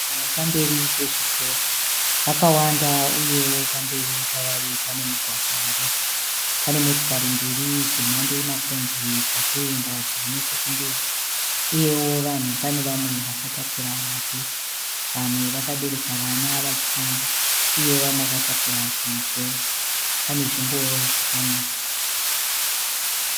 Vanhu varipamberi pezvitoro vakawanda uyewo pamberi pavari panemugwagwa uripo. Pane motikari mbiri dzemhando yemakombi dzatoenda dzirinechekumberi uyewo vanhu pane vamwe vakatakura mabhegi. Vamwe vakabereka vana vachifamba uyewo vamwe vakatakura zvimigomo. Panezvingoro zvakamira.